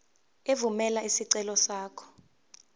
evumela isicelo sakho